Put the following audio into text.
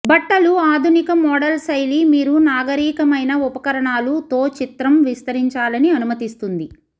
బట్టలు ఆధునిక మోడల్ శైలి మీరు నాగరీకమైన ఉపకరణాలు తో చిత్రం విస్తరించాలని అనుమతిస్తుంది